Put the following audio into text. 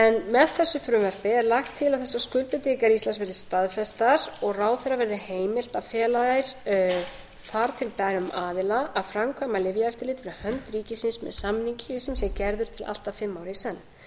með þessu frumvarpi er lagt til að þessar skuldbindingar íslands verði staðfestar og ráðherra verði heimilt að fela þær þar til bærum aðila að framkvæma lyfjaeftirlit fyrir hönd ríkisins með samningi sem sé gerður til allt að fimm ára í senn